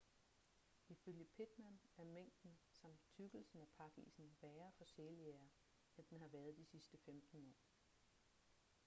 ifølge pittman er mængden samt tykkelsen af pakisen værre for sæljægere end den har været de sidste 15 år